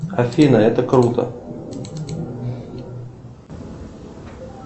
афина это круто